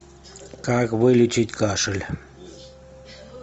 как вылечить кашель